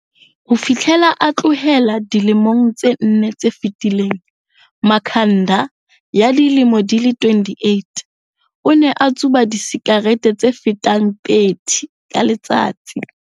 Ho fihlela a tlohela dilemong tse nne tse fetileng, Makhanda, ya dilemo di 28, o ne a tsuba disikarete tse fetang 30 ka letsatsi.